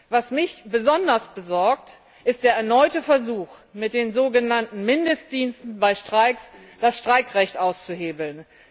Was mich besonders besorgt, ist der erneute Versuch, mit den sogenannten Mindestdiensten bei Streiks das Streikrecht auszuhebeln.